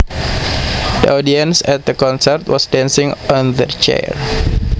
The audience at the concert was dancing on their chairs